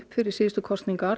fyrir síðustu kosningar